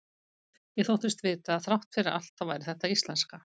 Ég þóttist vita að þrátt fyrir allt þá væri þetta íslenska.